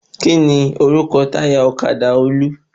Kíni orúkọ táyà ọ̀kadà Olú?